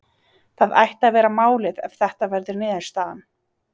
Það ætti að vera málið ef þetta verður niðurstaðan.